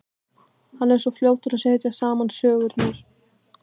Hann er svo fljótur að setja saman sögurnar.